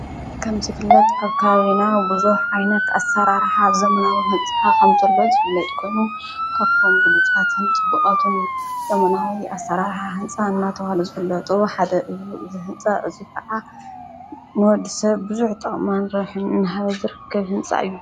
ከም ስፍለጥ ኣብ ካዘና ብዙኅ ዓይነኽ ኣሠራርኃ ዘምናዊ ሕንጽሓ ኸምተሎት ዘፍለጥ ኮኑ ከቦም ብሉጻትን ጥብቓቱን ዘምናዊ ኣሠራርሓ ሕንፃ እናተውሃለ ዘፍለጡ ሓደ እዩ ዝሕንፃ እዙይ ከዓ ንወድ ሰብ ብዙኅ ጠማን ሮኅንን ሃዘር ክህንጻ እዩ።